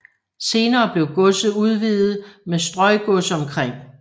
Senere blev godset udvidet med strøgods omkring